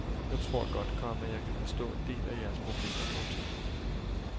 Jeg tror godt, komma jeg kan forstå en del af jeres problemer. punktum